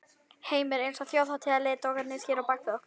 Heimir: Eins og þjóðarleiðtogarnir hér á bak við okkur?